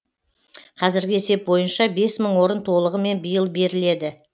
қазіргі есеп бойынша бес мың орын толығымен биыл беріледі